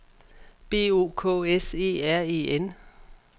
B O K S E R E N